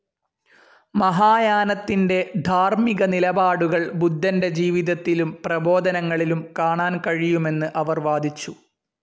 മഹായാനത്തിന്റെ ധാർമ്മിക നിലപാടുകൾ ബുദ്ധന്റെ ജീവിതത്തിലും പ്രബോധനങ്ങളിലും കാണാൻ കഴിയുമെന്ന് അവർ വാദിച്ചു.